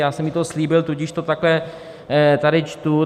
Já jsem jí to slíbil, tudíž to takhle tady čtu.